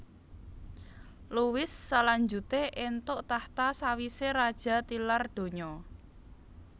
Louis salanjuté éntuk tahta sawisé raja tilar donya